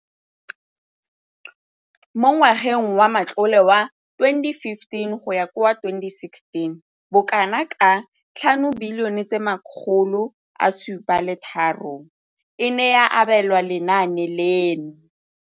Mo ngwageng wa matlole wa 2015,16, bokanaka R5 703 bilione e ne ya abelwa lenaane leno.